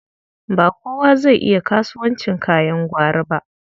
Ba kowa zai iya kasuwancin kayan gwari ba.